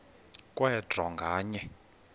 kwe draw nganye